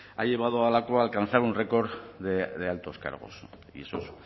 ha llevado a lakua a alcanzar un record de altos cargos y eso es